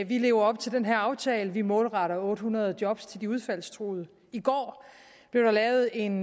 vi lever op til den her aftale vi målretter otte hundrede job til de udfaldstruede i går blev der lavet en